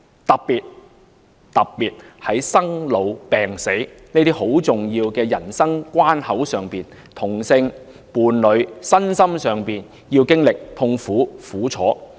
尤其是在生老病死的重要人生關口上，同性伴侶身心上要經歷痛苦和苦楚。